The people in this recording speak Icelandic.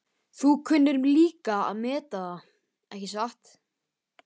Þú kunnir líka að meta það, ekki satt?